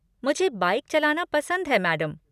मुझे बाइक चलाना पसंद है, मैडम।